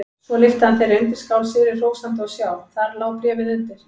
Svo lyfti hann þeirri undirskál sigri hrósandi og sjá: Þar lá bréfið undir!